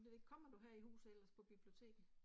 Det ved jeg ikke. Kommer du her i huset ellers? På biblioteket